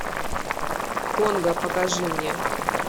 конго покажи мне